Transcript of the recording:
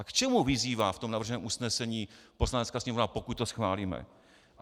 A k čemu vyzývá v tom navrženém usnesení Poslanecká sněmovna, pokud to schválíme?